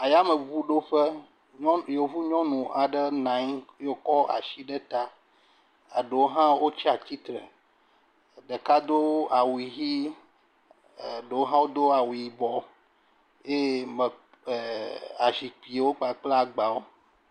Ayameŋuɖoƒe. nyɔ, Yevu nyɔnu aɖe nɔ anyi ye wòkɔ ashi ɖe ta eɖewo hã wotsi atsi tre. Ɖeka do awu ʋee, ɖewo hã do awu yibɔ, eye me, ɛɛ azikpiwo kpakple agbawo.